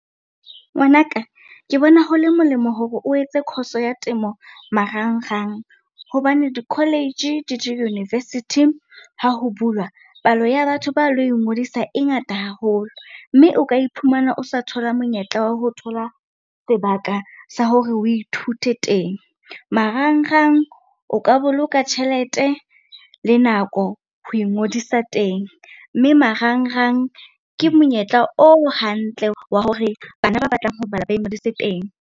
Ngwanaka ke bona ho le molemo hore o etse course-o ya temo marangrang. Hobane di-college le di-university ha ho bulwa, palo ya batho ba lo ingodisa e ngata haholo. Mme o ka iphumana o sa thola monyetla wa ho thola sebaka sa hore o ithute teng. Marangrang o ka boloka tjhelete le nako ho ingodisa teng, mme marangrang ke monyetla o hantle wa hore bana ba batlang ho bala ba ingodise teng.